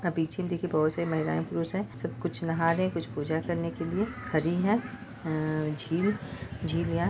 आप पिक्चर में देखिये बहुत सारी महिलाएं - पुरुष हैं सब कुछ नहा रहे हैं कुछ पूजा करने के लिए खड़ी हैं अ झील या--